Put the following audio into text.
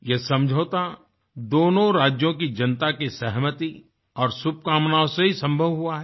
ये समझौता दोनों राज्यों की जनता की सहमति और शुभकामनाओं से ही सम्भव हुआ है